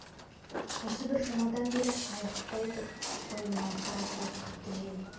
осы бір жұмадан бері айықпай тұр ғой мынау қара суық қатты жел